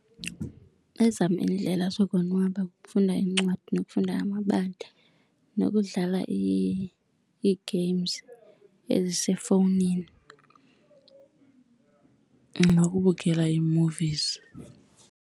Ezam iindlela zokonwaba kukufunda iincwadi nokufunda amabali, nokudlala ii-games ezisefowunini, nokubukela ii-movies.